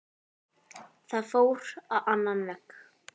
Það fór á annan veg.